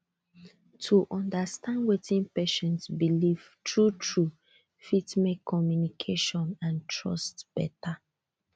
to understand wetin patient believe truetrue fit make communication and trust better